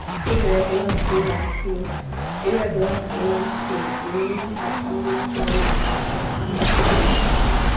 irregular freelance pay irregular freelance pay dey make her always worry about her money future.